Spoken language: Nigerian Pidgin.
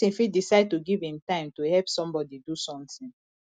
persin fit decide to give im time to help somebody do something